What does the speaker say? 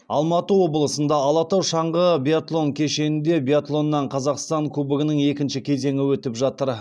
алматы облысында алатау шаңғы биатлон кешенінде биатлоннан қазақстан кубогының екінші кезеңі өтіп жатыр